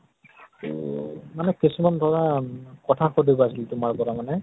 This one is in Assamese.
ত মানে কিছুমান ধৰা কথা সুধিব আছিল তোমাৰ পৰা মানে